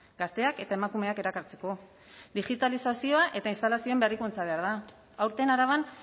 gazteak eta emakumeak erakartzeko digitalizazioa eta instalazioen berrikuntza behar da aurten araban